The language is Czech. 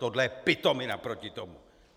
Tohle je pitomina proti tomu.